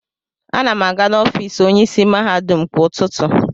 Ana m aga n'ọfịs onyeisi mahadum kwa ụtụtụ.